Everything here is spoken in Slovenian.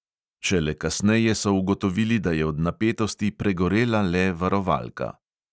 Šele kasneje so ugotovili, da je od napetosti pregorela le varovalka.